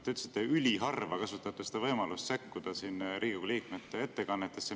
Te ütlesite, et te üliharva kasutate võimalust sekkuda Riigikogu liikmete ettekannetesse.